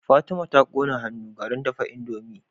Fatima ta kone a hannu garin dafa indomie